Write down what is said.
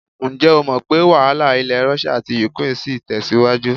Ǹjẹ́ o mọ̀ pé́ wàhálà ilẹ̀ Rọ́ṣíà àti ukraine ṣì ń tẹ̀síwájú?